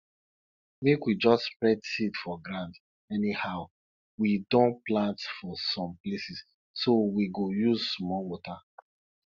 make we jus spread seed for ground anyhow we don plant for some places so we go use small water